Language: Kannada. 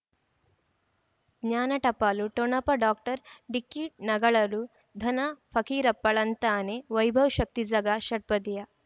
ಜ್ಞಾನ ಟಪಾಲು ಠೊಣಪ ಡಾಕ್ಟರ್ ಢಿಕ್ಕಿ ಣಗಳನು ಧನ ಫಕೀರಪ್ಪ ಳಂತಾನೆ ವೈಭವ್ ಶಕ್ತಿ ಝಗಾ ಷಟ್ಪದಿಯ